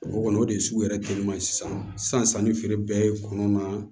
O kɔni o de ye sugu yɛrɛ teliman ye sisan sanni feere bɛɛ ye kɔnɔnaa